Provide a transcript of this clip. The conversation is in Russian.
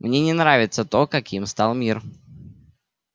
мне не нравится то каким стал мир